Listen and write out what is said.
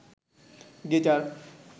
guitar